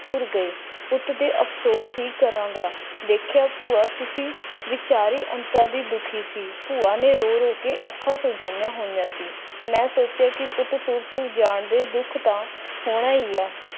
ਤੁਰ ਗਏ ਪੁੱਤ ਦੇ ਅਫਸੋਸ ਵੀ ਕਰਾਗਾ ਦੇਖਿਆ ਭੂਆ ਤੁਸੀ ਵੀਚਾਰਿ ਅੰਤਰਿ ਦੁਖੀ ਸੀ ਭੂਆ ਨੇ ਰੋ-ਰੋ ਕੇ ਅੱਖਾਂ ਸਜਾਇਆ ਹੋਇਆ ਸੀ ਮੈਂ ਸੋਚਿਆ ਕਿ ਪੁੱਤ ਤੁਰ ਜਾਣ ਦੇ ਦੁੱਖ ਦਾ ਫੋਨ ਆਇਆ